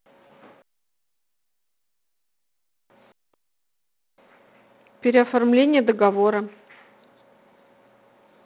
переоформление договора